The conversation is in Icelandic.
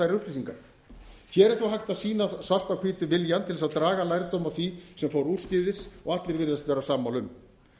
þær upplýsingar hér er þó hægt að sýna svart á hvítu viljann til að draga lærdóm af því sem fór úrskeiðis og allir virðast vera sammála um